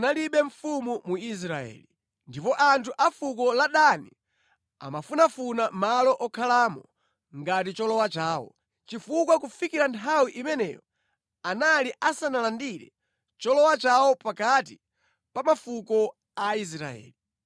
Masiku amenewo munalibe mfumu mu Israeli. Ndipo anthu a fuko la Dani amafunafuna malo okhalamo ngati cholowa chawo, chifukwa kufikira nthawi imeneyo anali asanalandire cholowa chawo pakati pa mafuko a Israeli.